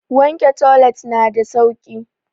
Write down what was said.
Wanke toilet na da sauki.